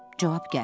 Cavab gəlmir.